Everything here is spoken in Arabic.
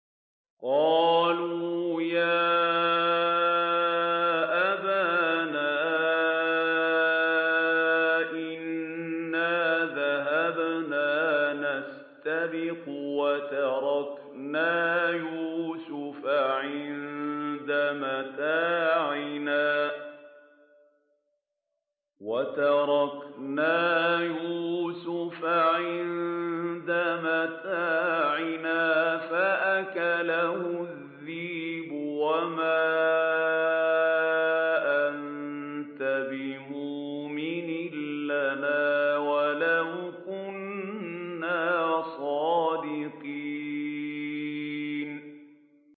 قَالُوا يَا أَبَانَا إِنَّا ذَهَبْنَا نَسْتَبِقُ وَتَرَكْنَا يُوسُفَ عِندَ مَتَاعِنَا فَأَكَلَهُ الذِّئْبُ ۖ وَمَا أَنتَ بِمُؤْمِنٍ لَّنَا وَلَوْ كُنَّا صَادِقِينَ